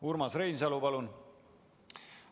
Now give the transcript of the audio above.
Urmas Reinsalu, palun!